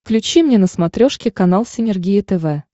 включи мне на смотрешке канал синергия тв